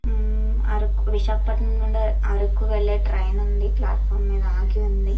ఉమ్మ్ అరకు విశాఖపట్టణం నుండి అరకు వెళ్లే ట్రైన్ ఉంది. ప్లాట్ ఫారమ్ మీద ఆగి ఉంది.